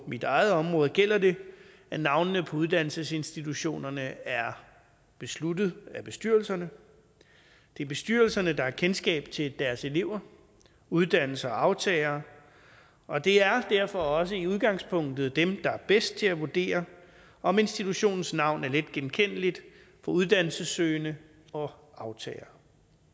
mit eget område gælder det at navnene på uddannelsesinstitutionerne er besluttet af bestyrelserne det er bestyrelserne der har kendskab til deres elever uddannelser og aftagere og det er derfor også i udgangspunktet dem der er bedst til at vurdere om institutionens navn er letgenkendeligt for uddannelsessøgende og aftagere